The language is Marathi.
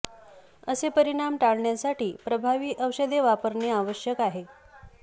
असे परिणाम टाळण्यासाठी प्रभावी औषधे वापरणे आवश्यक आहे